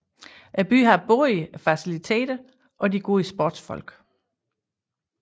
Byen har både faciliteterne og de gode sportsfolk